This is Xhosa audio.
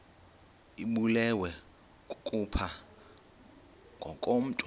ibulewe kukopha ngokomntu